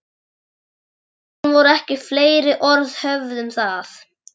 Síðan voru ekki fleiri orð höfð um það.